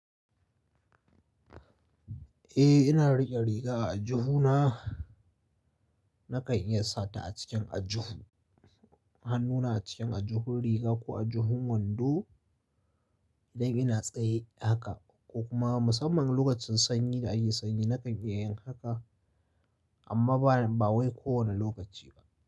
Eh, ina riƙe riga a aljihuna, Nakan iya sata a cikin aljihu, hannuna a cikin aljihun riga ko aljihun wando, idan ina tsaye haka, ko kuma musamman lokacin sanyi da ake sanyi nakan iya yin haka, amma ba, ba wai kowane lokaci ba.